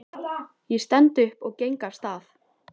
Ég stend upp og geng af stað.